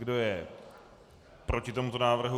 Kdo je proti tomuto návrhu?